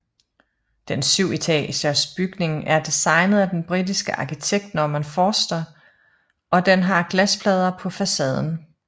Den syvetagers bygning er designet af den britiske arkitekt Norman Foster og den har glasplader på facaden